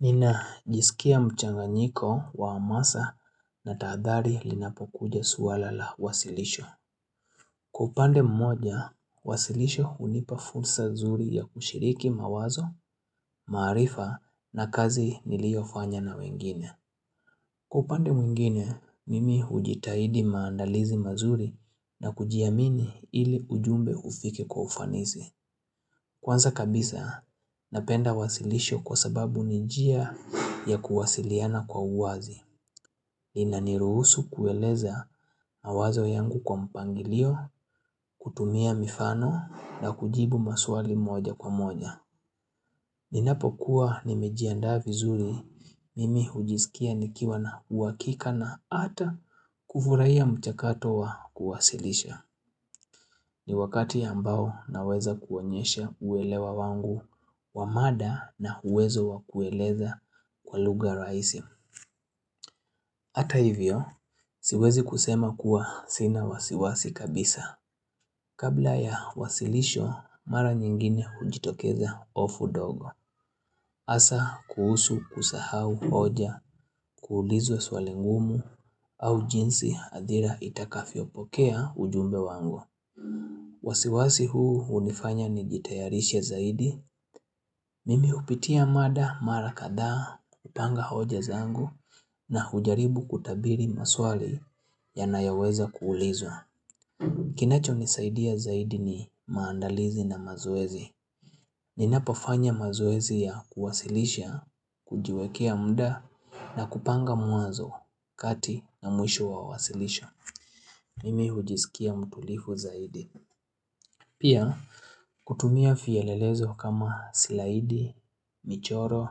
Ninajisikia mchanganyiko wa hamasa na tahadhari linapokuja swala la wasilisho. Kwa upande mmoja, wasilisho hunipa fursa nzuri ya kushiriki mawazo, maarifa na kazi niliyofanya na wengine. Kwa upande mwingine, mimi hujitahidi maandalizi mazuri na kujiamini ili ujumbe ufike kwa ufanisi. Kwanza kabisa, napenda wasilisho kwa sababu ni njia ya kuwasiliana kwa uwazi. Inaniruhusu kueleza mawazo yangu kwa mpangilio, kutumia mifano na kujibu maswali moja kwa moja. Ninapokuwa nimejiandaa vizuri, mimi hujisikia nikiwa na uhakika na hata kufurahia mchakato wa kuwasilisha. Ni wakati ambao naweza kuonyesha uelewa wangu wa mada na uwezo wa kueleza kwa lugha rahisi Hata hivyo, siwezi kusema kuwa sina wasiwasi kabisa Kabla ya wasilisho mara nyingine hujitokeza hofu ndogo hasa kuhusu kusahau hoja kuulizwa swali ngumu au jinsi hadhira itakavyopokea ujumbe wangu wasiwasi huu hunifanya nijitayarishe zaidi Mimi hupitia mada mara kadhaa kupanga hoja zangu na hujaribu kutabiri maswali yanayoweza kuulizwa Kinachonisaidia zaidi ni maandalizi na mazoezi Ninapofanya mazoezi ya kuwasilisha, kujiwekea muda na kupanga mwanzo, kati na mwisho wa wasilisho Mimi hujisikia mtulivu zaidi Pia kutumia vielelezo kama slaidi, michoro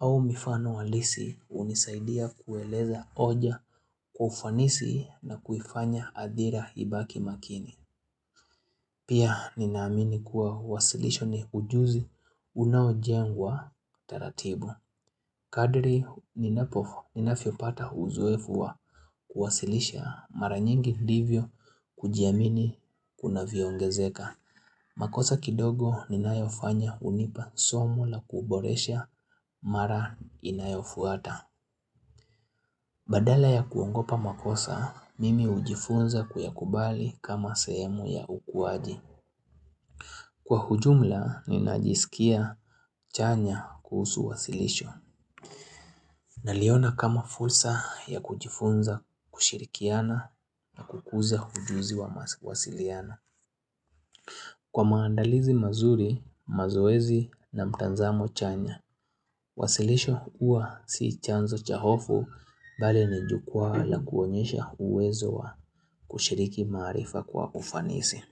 au mifano halisi hunisaidia kueleza hoja kwa ufanisi na kuifanya hadhira ibaki makini. Pia ninaamini kuwa wasilisho ni ujuzi unaojengwa taratibu. Kadri ninavyopata uzoefu wa kuwasilisha mara nyingi ndivyo kujiamini kunavyoongezeka. Makosa kidogo ninayofanya hunipa somo la kuboresha mara inayofuata. Badala ya kuogopa makosa, mimi hujifunza kuyakubali kama sehemu ya ukuaji. Kwa ujumla, ninajisikia chanya kuhusu wasilisho. Naliona kama fursa ya kujifunza kushirikiana na kukuza ujuzi wa mawasiliano Kwa maandalizi mazuri, mazoezi na mtazamo chanya. Wasilisho huwa si chanzo cha hofu bali ni jukwaa la kuonyesha uwezo wa kushiriki maarifa kwa ufanisi.